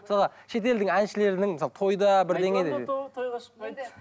мысалға шетелдің әншілерінің мысалы тойда бірдеңе